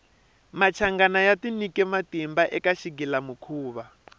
machangana ya tinyike matimba eka xighila mukhuva